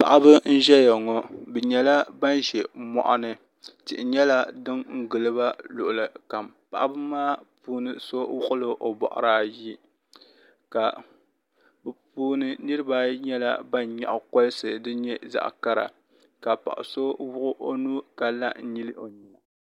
paɣ' ba n ʒɛya ŋɔ bɛ nyɛla ban ʒɛ moɣini tihi nyɛla di giliba luɣili kam paɣba maa puuni so wuɣ' la o bɔɣiri ayi ka bɛ puuni niribaayi nyɛla ban nyɛgi kalisi son nyɛ zaɣ kara ka paɣ' so wuɣ' o nuu ka la n nyɛli o nyɛna